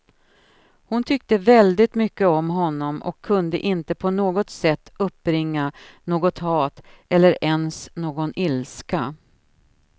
Hon tyckte väldigt mycket om honom och kunde inte på något sätt uppbringa något hat, eller ens någon ilska.